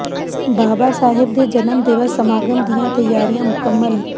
ਬਾਬਾ ਸਾਹਿਬ ਦੇ ਜਨਮ ਦਿਵਸ ਸਮਾਗਮ ਦੀਆਂ ਤਿਆਰੀਆਂ ਮੁਕਮੰਲ